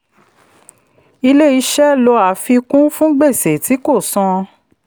ilé-iṣẹ́ lò àfikún fún gbèsè tí kò san.